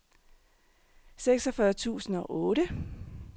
seksogfyrre tusind og otte